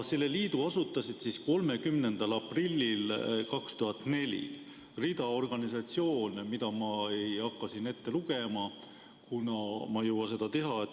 Selle liidu asutasid 30. aprillil 2004 rida organisatsioone, mida ma ei hakka siin ette lugema, kuna ma ei jõua seda teha.